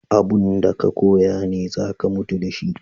Abun da ka koya ne za ka mutu da shi.